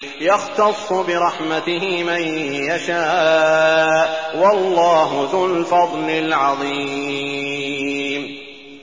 يَخْتَصُّ بِرَحْمَتِهِ مَن يَشَاءُ ۗ وَاللَّهُ ذُو الْفَضْلِ الْعَظِيمِ